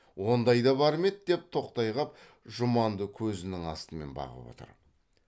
ондай да бар ма еді деп тоқтай қап жұманды көзінің астымен бағып отыр